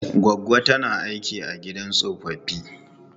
Goggo ta tana aiki a gidan tsofaffi.